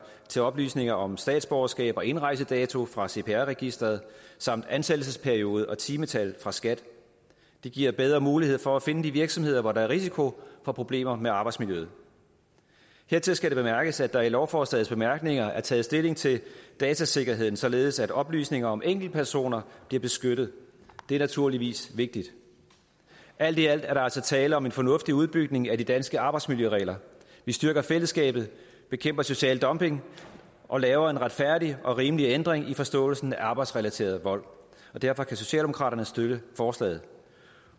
til oplysninger om statsborgerskab og indrejsedato fra cpr registeret samt ansættelsesperiode og timetal fra skat det giver bedre mulighed for at finde de virksomheder hvor der er risiko for problemer med arbejdsmiljøet hertil skal bemærkes at der i lovforslagets bemærkninger er taget stilling til datasikkerheden således at oplysninger om enkeltpersoner bliver beskyttet det er naturligvis vigtigt alt i alt er der altså tale om en fornuftig udbygning af de danske arbejdsmiljøregler vi styrker fællesskabet bekæmper social dumping og laver en retfærdig og rimelig ændring i forståelsen af arbejdsrelateret vold og derfor kan socialdemokraterne støtte forslaget